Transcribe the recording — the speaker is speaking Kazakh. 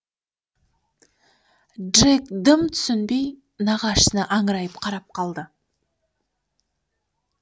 джек дым түсінбей нағашысына аңырайып қарап қалды